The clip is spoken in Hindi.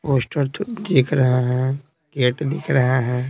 पोस्टर तो दिख रहा है गेट दिख रहा है।